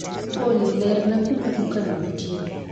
Olly lerna kuma duka no ntie